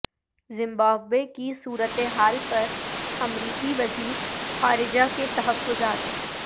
Zimbabwe کی صورتحال پر امریکی وزیر خارجہ کے تحفظات